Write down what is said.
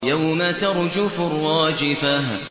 يَوْمَ تَرْجُفُ الرَّاجِفَةُ